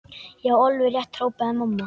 Já, alveg rétt hrópaði mamma.